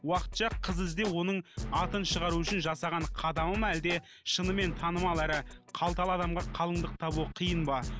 уақытша қыз іздеу оның атын шығару үшін жасаған қадамы ма әлде шынымен танымал әрі қалталы адамға қалыңдық табу қиын ба